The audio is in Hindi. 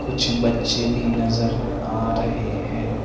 कुछ बच्चे भी नज़र आ रहे है।